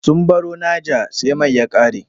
Sun baro Naja sai mai ya ƙare.